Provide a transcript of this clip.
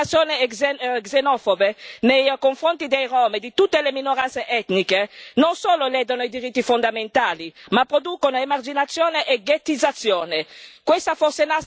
Le campagne di discriminazione xenofobe nei a confronti dei rom e di tutte le minoranze etniche non solo ledono i diritti fondamentali ma producono emarginazione e ghettizzazione.